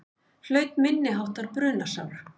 Hlaut minniháttar brunasár